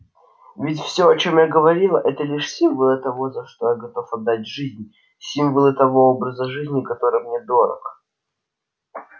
ведь всё о чем я говорил это лишь символы того за что я готов отдать жизнь символы того образа жизни который мне дорог